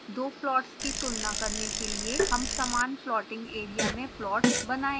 दो प्लॉट्स की तुलना करने के लिए हम समान plotting area में प्लॉट्स बनायेंगे